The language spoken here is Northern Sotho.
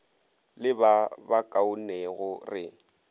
le ba ba kaonego re